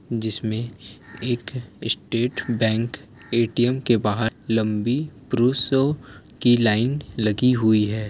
जिसमे एक State Bank ATM के बहार लम्बी पुरुषों की लाइन लगी हुई है।